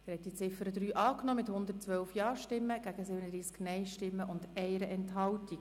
Sie haben die Ziffer 3 angenommen mit 112 Ja- gegen 37 Nein-Stimmen bei 1 Enthaltung.